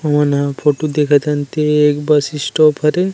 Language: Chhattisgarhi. हमन ह फोटु देखत हन ते ह एक बस स्टॉप हरे।